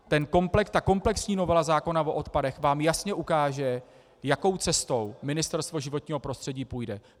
Ta komplexní novela zákona o odpadech vám jasně ukáže, jakou cestou Ministerstvo životního prostředí půjde.